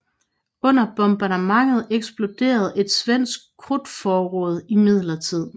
Under bombardementet eksploderede et svensk krudtforråd imidlertid